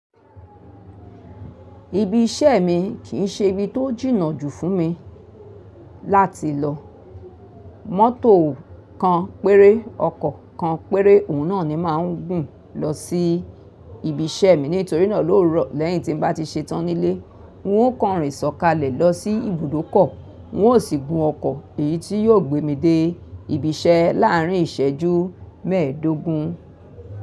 Ibi iṣẹ́ mi kì í ṣe ibi tó jìnnà jù fún mi láti lọ. Mọ́tò kan péré, ọkọ̀ kan péré òun náà ni màá ń gùn lọ sí ibi iṣẹ́ mi nítorí náà lówuro lẹ́yìn tí n bá ti ṣe tán nílé, n ó kànrìn ṣọkalẹ̀ lọ sí ibùdókọ̀, n ó sì gun ọkọ̀ èyí tí yó gbé mi dé ibi iṣẹ́ láàárín ìṣẹ́jú mẹ́ẹ̀dógún.